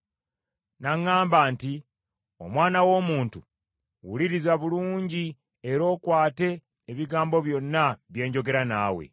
N’aŋŋamba nti, “Omwana w’omuntu, wuliriza bulungi era okwate ebigambo byonna bye njogera naawe.